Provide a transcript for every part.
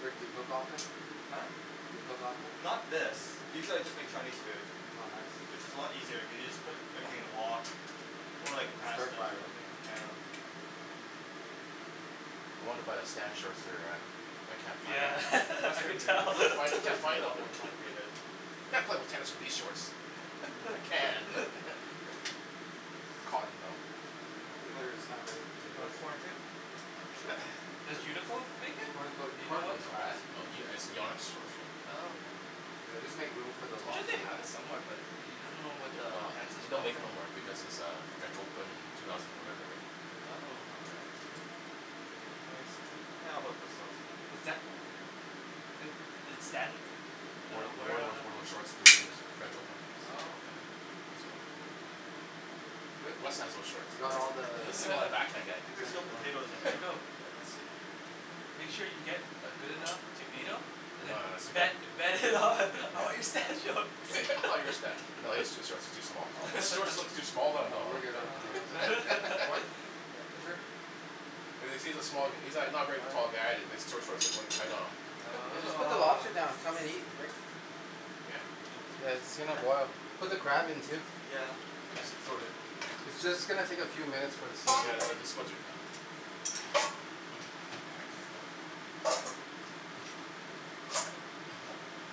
Rick, do you cook often? Huh? Do you cook often? Not this. Usually I just make Chinese food. Oh nice. Which is a lot easier, you can just put everything in a wok. Or, And like, stir pasta fry, or something. right? Yeah. I wanna buy the Stan shorts there, uh but I can't find Yeah. them. I Western can food tell. Can't find, is can't usually a find them. lot more complicated. Can't play with tennis in these shorts. I can, but. Cotton though. I don't think there's that many You potatoes. want corn, too? Sure. Does Uniqlo make it? Corn cook, Do you know corn what cooks No, fast. brand? no, Ye- it's Yonex shorts, right? Oh okay. Yeah, just make room for the I'm sure they lobster, yeah? have it somewhere but, you, you don't know what the Well, it's, and they don't make it no more because it's uh French Open two thousand whatever, right? Oh. Is that Did Stan Uh Wore, wear it wore those, on wore those uh short to win his French Open. Oh okay. So. Good? Wes has those shorts. You got all the s- a back hand guy. I think is there's there still anymore? potatoes in there as well. Let's see. Make sure you get uh good enough to beat him and then No, uh, he's too bet, good. bet him on all your Stan shorts. All your Sta- no, his shorts are too small. His Oh. shorts look too small on. No, we're good on potatoes. Corn? Yeah. Sure. Cuz, cuz he's a small, he's not, not a very tall guy and his short, shorts look, look tight on him. Yeah, just Oh put the lobster down. Come and eat, Rick. Yeah. Yeah, it's gonna boil. Put the crab in too. Yeah. It's just gonna take a few minutes for the Yeah, seafood. the, the, the spuds are done.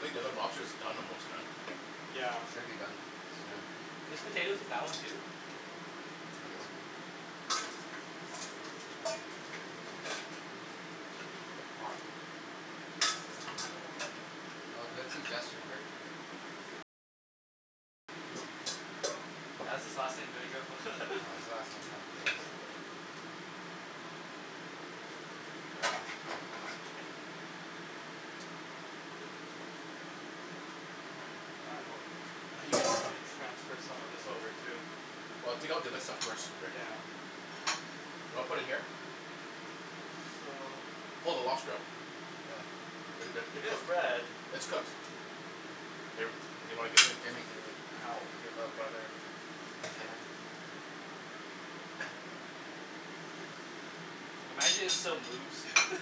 Think the other lobster's done almost, man. Yeah. Should be done. Soon. There's potatoes in that one too? Ooh. Hot. No. Oh good suggestion, Rick. That's his last name, there you Oh go. his last name. transfer some of this over, too. Well, take out the other stuff first, Rick. You wanna put it in here? So Pull the lobster out. Yeah. They're good, they're It is cooked. red. It's cooked. Hey, Rick. Do you? Can Ow. you give up, Okay. brother? Uh huh. Imagine it still moves.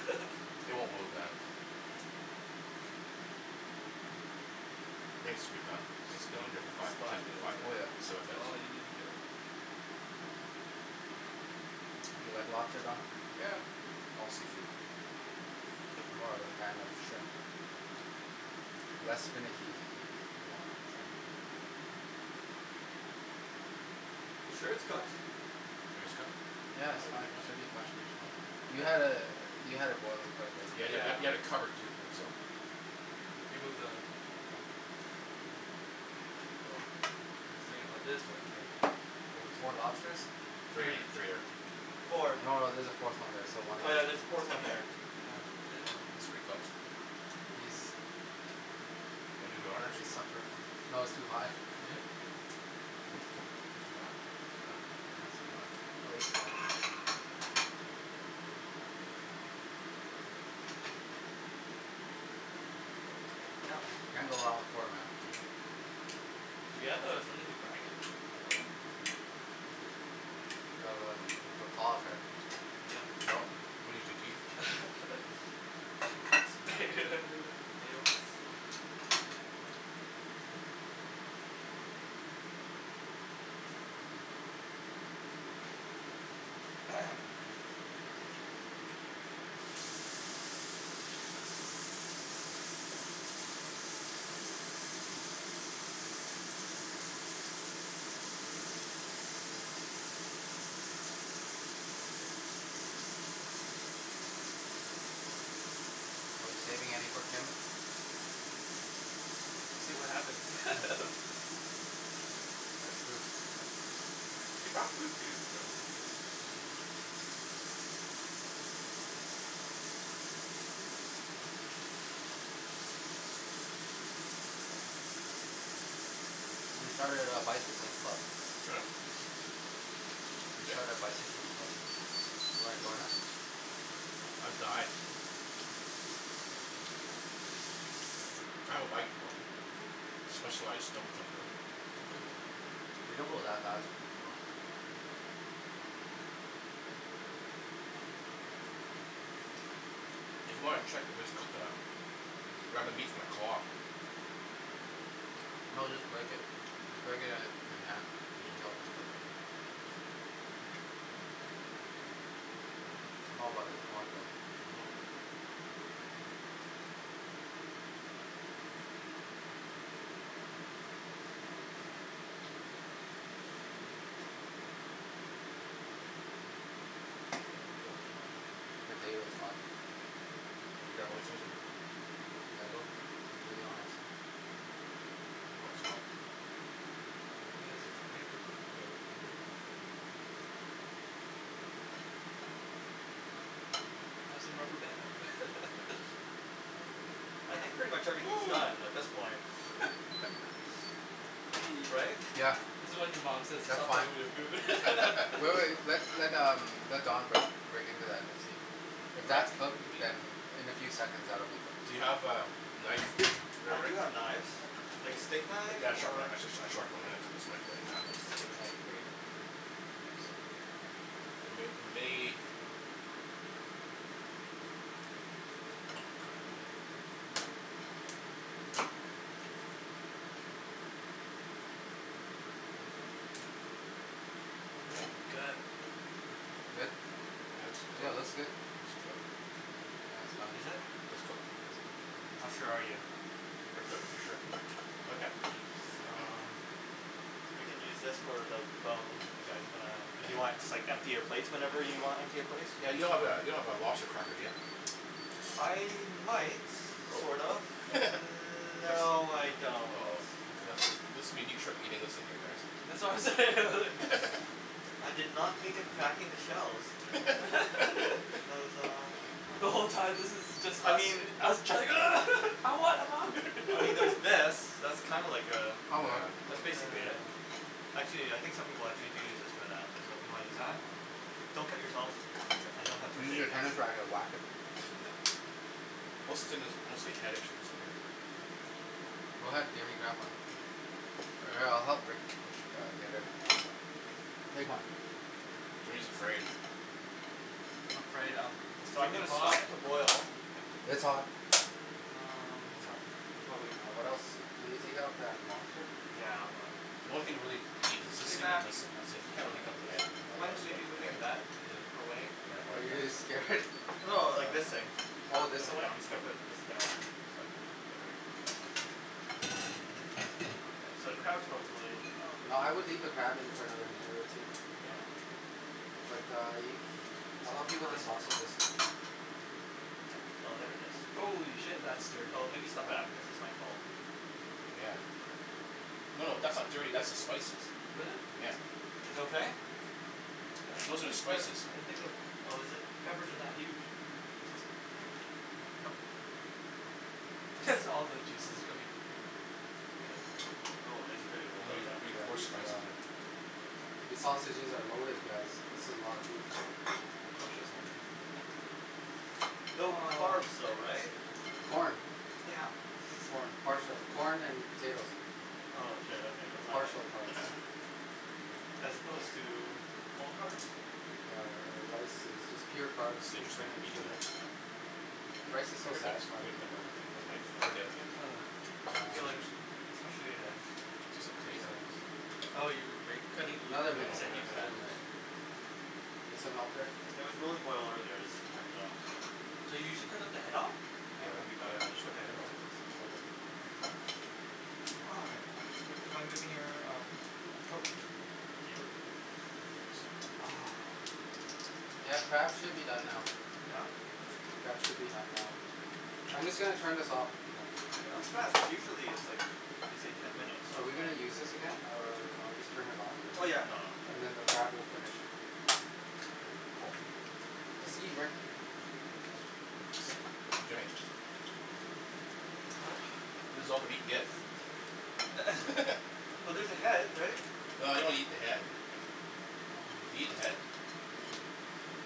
It won't move, man. I think it should be done. It's been in Don't there for five, splash ten, me up five, there. Oh yeah. seven That's minutes. all you need to care about. More? Do you like lobster, Don? Yeah. All seafood. I'm more of a fan of shrimp. Less finicky to eat, Yeah. so. You sure it's cooked? Think it's cooked? Yeah, it's fine. Should be fine. Should be fine. You had it, you had it boiling quite a bit. Yeah, you had, you Yeah. had, you had it covered too, so. the Oh. Oh. I was thinking about this part here. Oh, four lobsters? Three Three. there. No, Four. no, there's there a fourth one there. So one Oh l- yeah, there's a fourth one here. Oh yeah, Looks pretty I cooked. think He's, Wanna do the honors? he's suffered. No, it's too hot. Yeah. Is it too hot? Oh. Yeah. It's too hot. I'll eat corn. Can't Yep. go wrong with corn, man. Mhm. Do we have uh something to crack it, by the way? The um, the claws, right? Yeah. No. We use your teeth. Potato. Are we saving any for Kim? We'll see what happens. Hm. That's true. She bought food too, so. Hm? We started a bicycling club. Huh? Who We did? started a bicycling club. You wanna join us? Uh, I'd die. I have a bike though. Specialized Mhm. We don't go that fast. Oh. If you wanna check if it's cooked or not Grab the meat from the claw. No, just break it. Just break it uh in half. You Mm. can tell if it's cooked. I'm all about the corn though. Mhm. Oh. Potato's hot. Could you grab? Do the honors. Oh it's hot. Have some rubberband. I think pretty much everything's done at this point. Wee. Right. Yeah. This is when your mom says, That's "Stop fine. playing with your food." Wait, wait. Let, let um, let Don break, break into that and see. If Wreck? that's cooked, You mean? then in a few seconds that will be Do cooked. you have a knife there, I do Rick? have knives. Like a steak knife? Yeah, a sharp knife, Or? a sh- sh- sharp one. I'm gonna cut this right, right in half, I think. Yeah. Nice. It may, it may Good. Good? Yeah, it's Yeah, it looks cooked. good. It's cooked. Yeah, it's fine. It's cooked. Yeah, How it's cooked. sure are you? Pretty cooked for sure. Okay. Um You can use this for the bones if you guys wanna, if you want, just, like, empty your plate whenever you wanna empty your plates. Yeah, Yeah, you you don't don't have have that, a Oh. don't have a lobster cracker, do you? I might, Oh. sort of. Mm- That's, no, I don't. oh. That's wha- this will be neat trick eating this thing here, That's guys. what I'm saying. I did not think of cracking the shells. There's um The whole time this is just I us. mean Us trying, "Ugh. I want, I want." I mean there's this. That's kinda like uh, That'll work. that's Oh basically yeah. it. Actually, yeah, I think some people, like, they do use this for that, so if you wanna use that? Oh. Don't cut yourself. I don't have first Use aid your kits. tennis racket, wack it. Most of the thing that's, mostly. Go ahead, Jimmy, grab one. All right, I'll help Rick. you get everything else up. Take one. Jimmy's afraid. I'm afraid um, it's So I'm freaking gonna stop hot. the boil. It's hot. It's hot. Um. Can probably Uh, what else. Can we take out that lobster? Yeah, I'm The gonna only thing to really eat is this thing and this thing. That's it. You can't Mhm. really eat the head, well, unless you want to eat the head. Yeah. Are you scared? No, like, this thing. All of this away? Yeah, I'm just gonna put this down so I don't have to So, the crab is probably, No, oh I would leave the crab in for another minute or two. Yeah. But uh you, I'll help you with the sausages. Oh, there it is. Holy shit. That's dirty. Oh, maybe step What? back because this might fall. Yeah. No, no, that's not dirty, that's the spices. Really? Yeah Is it okay? I Those don't are the think that, spices. I don' think that, Oh, is it? peppers are that huge. That's all the juices coming out. Oh, this. eat pretty Yeah, coarse these spices uh here. These sausages are loaded guys. This is a lot of food. No Ah carbs though, right? Corn. Damn. Corn, parts of corn and potatoes. Oh shit okay never mind then. Partial carbs. As opposed to, full carbs? Yeah uh rice is just pure carbs This is interesting, and eating sugar. this. Rice is so Look at this satisfying to eat take though. a knife, or the other thing, Yeah, Um. I feel like, scissors. especially as This isn't clean enough. No Oh no, you, are you cutting, you Another I'm gonna, you minute, said I'm use another gonna that do this. minute. right? You need some help there? It was really boiling over there so I just turned it off so Do you usually cut off the head off? Yeah, okay, yeah, we let's usually cut focus the head on off. Okay. the Wow. Hey, do you mind moving your um, coke, thank you Ah. Yeah, the crab should be done now. Yeah? The crab should be done now. I'm just going to turn this off. That was fast, cuz usually it's like it's like ten minutes. Are we going to use this again? Or I'll just turn it off, Oh and, yeah nah. and then the crab will finish. Okay, cool. Holy See Rick shit. Jimmy. This is all the meat he gets. Well there's the head right? Well I don't eat the head. Do you eat the head?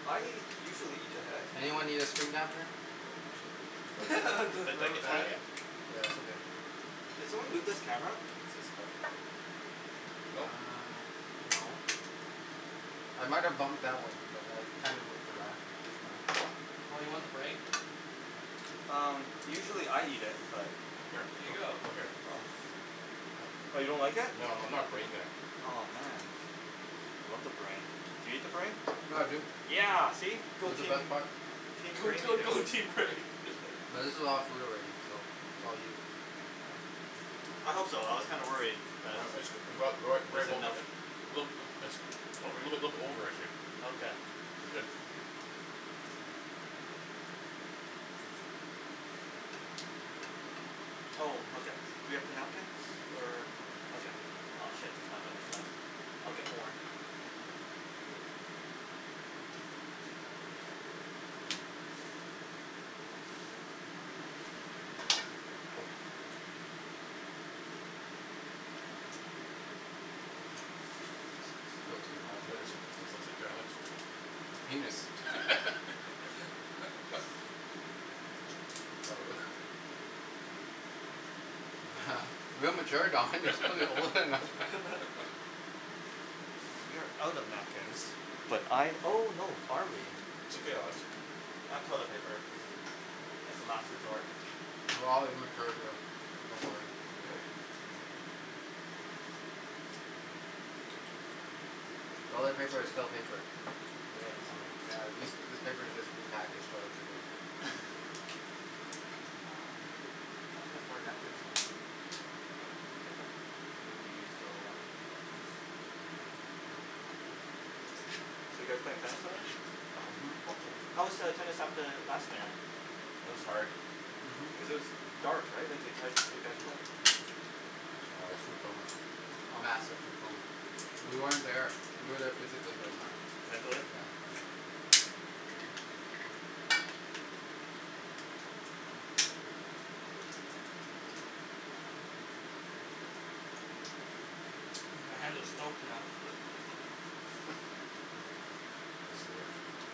I usually eat the head. Anyone need extra napkin? Yeah it's okay. Did someone move this camera? Nope. Uh No. no. I might have bumped that one but I kind of moved it back. Oh you want the brain? Um usually I eat it but Here. Here you go! Come here. Oh. Oh you don't like it? No I'm not brain guy. Aw man. I love the brain. Do you eat the brain? Yeah dude. Yeah! See? Go It's the best team. part. Team Go brain here. team go team brain. But this is a lot of food already, so it's all you. I hope so, I was kinda worried that a it wasn't enough. little bit a little over I'd say. Okay. It's good. Oh okay. Do we have the napkins? Or. Okay. Aw shit, there's not that much left. I'll get more. S- still too hot. What is, this looks like A penis? Real mature Don, you're supposed to be older than that So we are out of napkins, but I oh no, are we It's okay I'll have some. I have toilet paper as the last resort. We're all immature here, don't worry. It's very Asian. Toilet paper is still paper. I guess. Mm. Yeah, these, this paper is just repackaged toilet paper. Oh, I thought I had more napkins somewhere. Well. Hiccup. Maybe we used it a lot. So you guys playing tennis later? Mhm. Hopefully. How was the tennis at the It was hard. Mhm. Cuz it was dark right, like how did you guys play? Just food coma. Massive food coma. We weren't there. We were there physically, but not Mentally? Yeah. My hands are stoked now.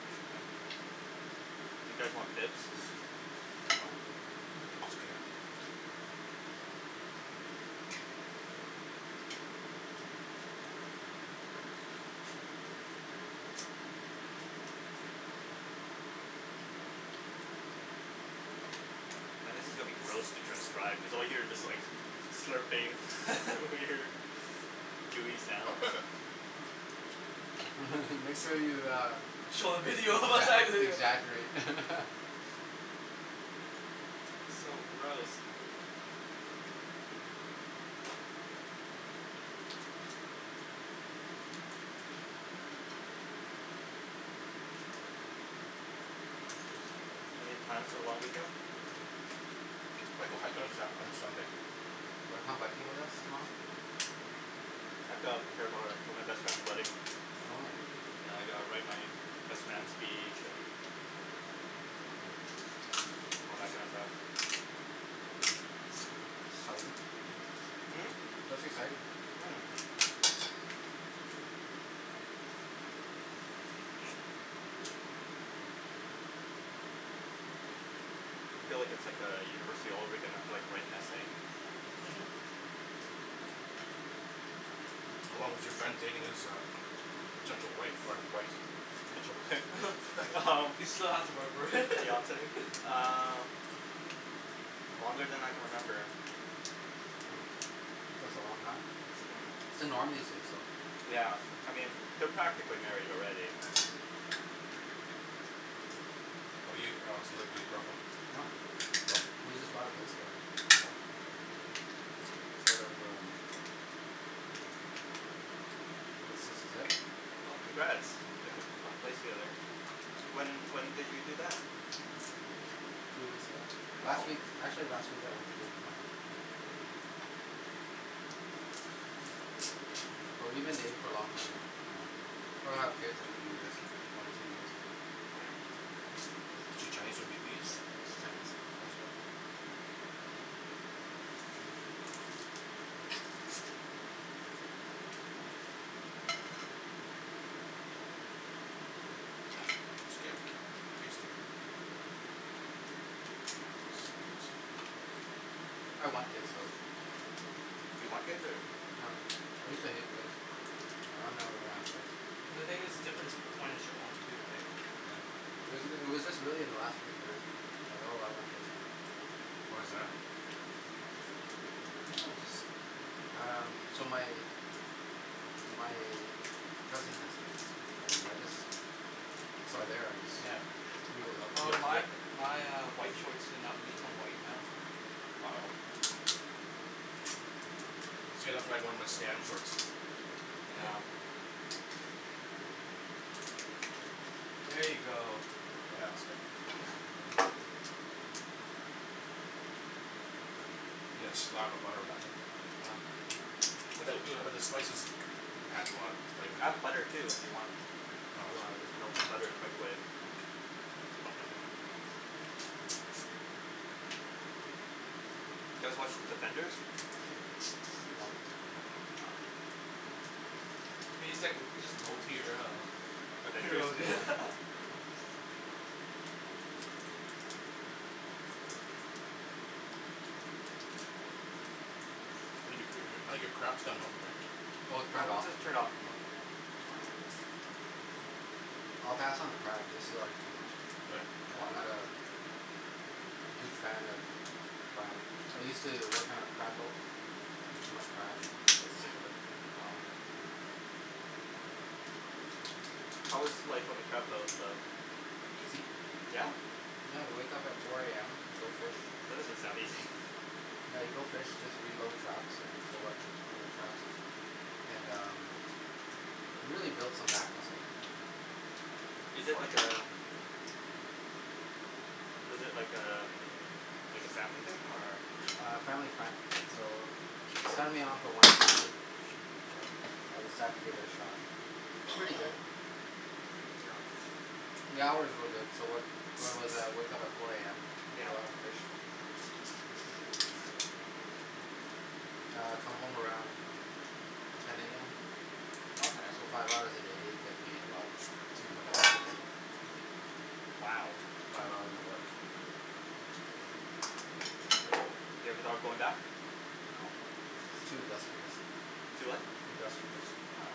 Do you guys want bibs? It's fine. It's okay. Now this is gonna be gross to transcribe, cuz all you hear is just like, slurping weird gooey sounds. Make sure you uh Show the video exa- exaggerate So gross. Any plans for the long weekend? Might go hiking on Sa- on Sunday. Wanna come hiking with us tomorrow? I have to prepare for for my best friend's wedding. Oh. And I gotta write my best man's speech and Mm. all that kind of stuff. Exciting. Mm? Mhm. That's exciting. Feel like it's like a university all over again, you have to like write an essay. How long was your friend dating this uh potential wife or wife? Potential wife He still has to work for it Fiance, uh, longer than I can remember. Hm, that's a long time. That's the norm these days though. Yeah, I mean, they're practically married already. How 'bout you Alex, you live with your girlfriend? No, No? but we just bought a place together. Oh. Sort of um, I guess this is it. Well congrats, Yeah. if you bought a place together. When when did you do that? Two weeks ago. Last week, Oh! actually, last week I went to give the money. But we've been dating for a long time Mm. now. Probably gonna have kids in a few years. One or two years. Mm. Is she Chinese or Vietnamese? She's Chinese. Nice girl It's good. Tasty. I want kids though. You want kids or? No. I used to hate kids. Mm. I never gonna have kids. Well the thing is, difference whe- when it's your own too right. Yeah. It was just it was just really in the last few years like oh I want kids now. Why's that? Maybe I'm just, um, so my my cousin has kids, and I just, from there I just, yeah, like we have a lot of Well kids my uh yeah. my uh white shorts did not become white now. Oh. Yeah. Here you go. Yeah that's good. You gotta slab the butter on that thing Oh. But but it's the still good but the spices though. adds a lot of flavor I have butter to too it. if you want. No If you wanna it's melt okay. some butter in the Mm. microwave. Do you guys watch The Defenders? No. No no. What do you think, just low tier uh Avengers? Heroes I think your cr- I think your crab's done now Rick. Oh it's No turned it's off. just It's turned off. Mm. fine. I'll pass on the crab, this is already too much. Really? What? I'm not a huge fan of crab. I used to work on a crab boat, ate too much crab and got sick of it. Oh. How was life on the crab boat though? Easy. Yeah? I had to wake up at four AM, go fish, That doesn't sound easy yeah you go fish, just reload traps and pull up old traps and um, you really build some back muscle. Is it like a, is it like a, like a family thing or A family friend. So, they signed me on for one season, Good job. I decided to give it a shot. Pretty good. The hours were good, so where where was I, I woke up at four AM, Yeah. caught lots of fish. I'd come home around ten AM, Okay. so five hours a day, get paid about two hundred bucks a day. Wow. Five hours of work. Yep. You ever thought of going back? No, it's too industrious. Too what? Industrious. Wow.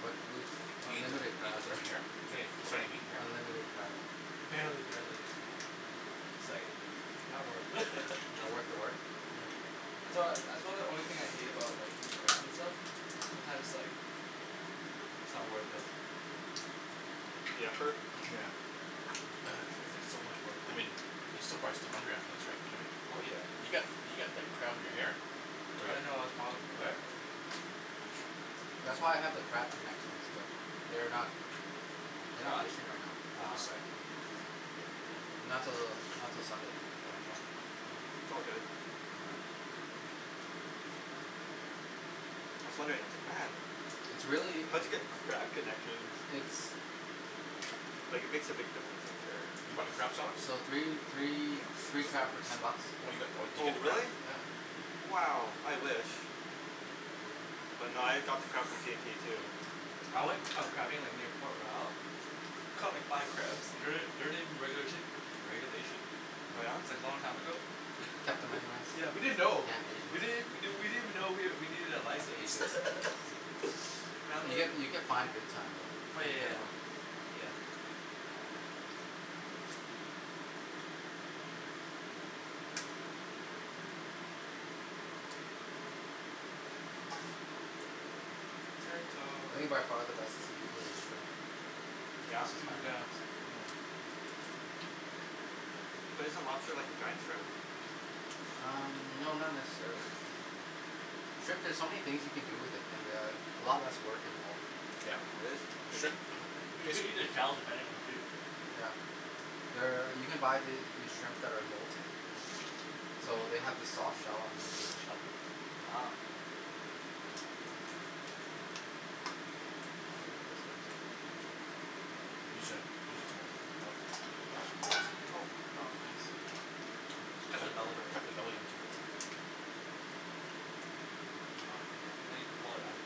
But, we eat Is there unlimited crab right. any, is there Sorry? any meat in here? Unlimited crab. Barely. No, Mm. it's like, not worth. Not worth the work? Yeah. That's why, that's why the only thing I hate about like eating crab and stuff, sometimes like, it's not the worth the mm The effort? Yeah. It's like so much I workload. mean, you're still prob still hungry after this right Jimmy? Oh yeah. You've got, you've got like crab in your hair. Oh I yeah. didn't know I was prob- where? That's why I have the crab connections, but, they're not, Is they're it not gone? fishing right now. No, Uh Um. this side. not till, not till Sunday. It's all good. I was wondering It's really, how'd you get crab connections it's Like it makes a big difference I'm You sure. bought the crab sauce? So three, three, Hm? three crab for ten bucks. Oh you got, oh did you Oh get the crab really? Yeah. sauce. Mm. Wow, I wish. But nah I got the crab from T&T too. I went uh crabbing like near Port Royal, caught like five crabs. Don't they don't they regula- regulation? Oh yeah? It's like long time ago. Caught them anyways. Yeah, Damn we didn't know. We Asians. didn't we didn't even know we needed a license. Asians. You get you get fined big time Oh though. yeah Be yeah yeah. careful. Yeah. I think by far the best seafood is shrimp. Yeah? That's just Mm my yeah. preference. But isn't lobster like a giant shrimp? Um no not necessarily. Shrimp there's so many things you can do with it, and uh a lot less work involved. You can eat the shells depending on too. Yeah. There, you can buy these shrimp that are molting so they have the soft shell underneath the shell. Wow. Use your, use your Huh? Oh. Cut the belly. Cut the belly into it. Oh huh. Now you can pull it out.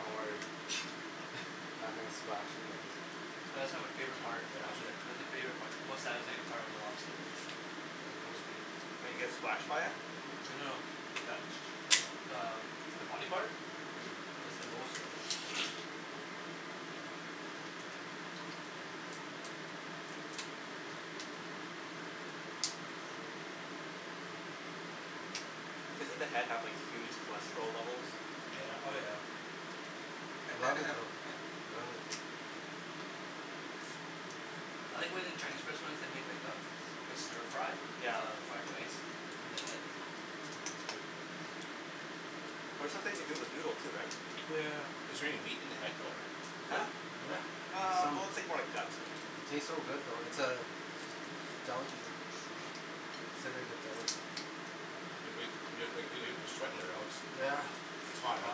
Don't worry I'm not gonna splash you guys. That's like my favorite, part, actually, that's my favori- part, most satisfying part of the lobster, like the most meat. When you get splashed by it? Well no, that's, that's uh the body part? Mhm. Cuz it's the most right. Doesn't the head have like huge cholesterol levels? Oh yeah. I love it though, I love it. I like when in Chinese restaurants, they make like a, like a stir fry, Yeah. of fried rice, in the head? It's good. Or sometimes they do it with noodle too right? Oh yeah yeah yeah. Is there any meat in the head though? Huh? Yeah! There's Ah, some, well it's like more like guts and it tastes so good though. It's uh, a delicacy. Considered a delicacy. You're sweating there Alex. Yeah. It's hot huh.